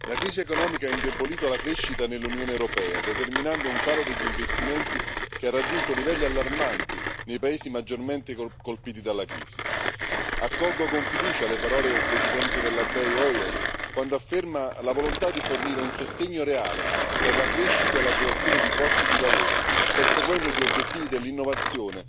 Signor Presidente, onorevoli colleghi, la crisi economica ha indebolito la crescita nell'Unione europea, determinando un calo degli investimenti che ha raggiunto livelli allarmanti nei paesi maggiormente colpiti dalla crisi. Accolgo con fiducia le parole del Presidente della BEI Hoyer quando afferma la volontà di fornire un sostegno reale per la crescita e la creazione di posti di lavoro, perseguendo gli obiettivi dell'innovazione,